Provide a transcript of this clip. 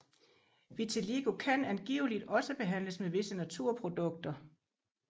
Vitiligo kan angiveligt også behandles med visse naturprodukter